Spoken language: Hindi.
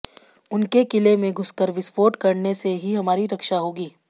उनके किले में घुसकर विस्फोट करने से ही हमारी रक्षा होगी